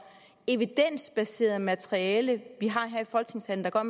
evidensbaseret materiale vi har her i folketingssalen der gør